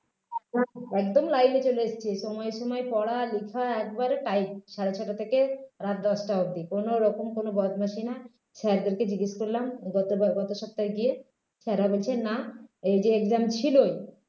একদম line এ চলে এসেছে সময় সময় পড়ালেখা একবারে tight সাড়ে ছয়টা থেকে রাত দশটা অবধি কোনওরকম কোনও বদমাশি না sir দেরকে জিজ্ঞেস করলাম গত বার গত সপ্তাহে গিয়ে তারা বলছে না এই যে exam ছিল